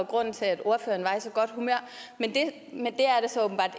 grunden til at ordføreren var i så godt humør men det